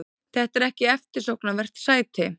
Þetta er ekki eftirsóknarvert sæti.